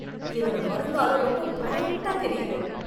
என்னோட வருங்காலம் ரொம்ப பிரைட்டா தெரியுது.